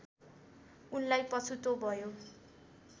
उनलाई पछुतो भयो